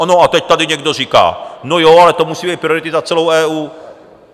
No a teď tady někdo říká: No jo, ale to musí být priority za celou EU.